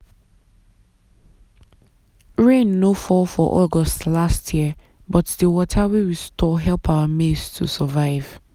rain no fall for august last year but the water wey we store help our maize to survive.